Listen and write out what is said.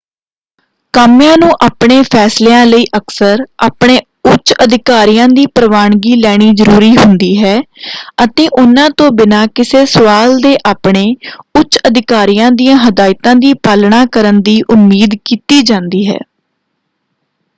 ਕਾਮਿਆਂ ਨੂੰ ਆਪਣੇ ਫ਼ੈਸਲਿਆਂ ਲਈ ਅਕਸਰ ਆਪਣੇ ਉੱਚ ਅਧਿਕਾਰੀਆਂ ਦੀ ਪ੍ਰਵਾਨਗੀ ਲੈਣੀ ਜ਼ਰੂਰੀ ਹੁੰਦੀ ਹੈ ਅਤੇ ਉਹਨਾਂ ਤੋਂ ਬਿਨਾਂ ਕਿਸੇ ਸਵਾਲ ਦੇ ਆਪਣੇ ਉੱਚ ਅਧਿਕਾਰੀਆਂ ਦੀਆਂ ਹਿਦਾਇਤਾਂ ਦੀ ਪਾਲਣਾ ਕਰਨ ਦੀ ਉਮੀਦ ਕੀਤੀ ਜਾਂਦੀ ਹੈ।